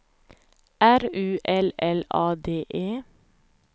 R U L L A D E